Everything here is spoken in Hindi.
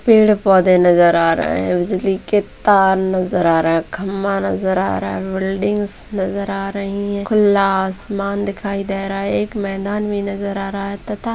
पेड़-पौधे नज़र आ रहे हैं बिजली के तार नज़र आ रहे हैं खम्भा नज़र आ रहा है बिल्डिंग नज़र आ रही हैं खुला आसमान दिखाई दे रहा है एक मैदान भी नज़र आ रहा है तथा--